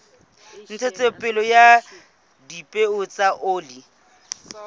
ntshetsopele ya dipeo tsa oli